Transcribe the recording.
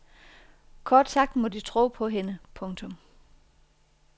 Kort sagt må de tro på hende. punktum